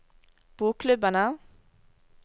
bokklubbene